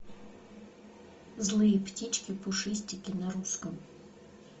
злые птички пушистики на русском